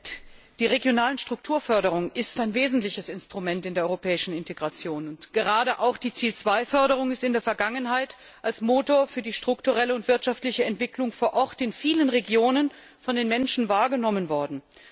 Herr Präsident! Die regionale Strukturförderung ist ein wesentliches Instrument in der europäischen Integration, und gerade auch die Ziel 2 Förderung ist in der Vergangenheit als Motor für die strukturelle und wirtschaftliche Entwicklung vor Ort in vielen Regionen von den Menschen wahrgenommen worden.